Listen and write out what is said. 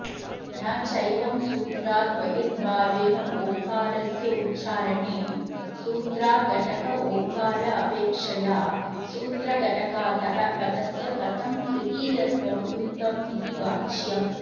न चैवं सूत्राद् बहिर्भावेनोङ्कारस्योच्चारणॆ सूत्राघटकोङ्कारापेक्षया सूत्रघटकातः पदस्य कथं तृतीयत्वं युक्तमिति वाच्यम्